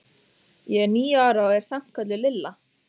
Ég er níu ára og er samt kölluð Lilla.